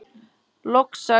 Loks sagði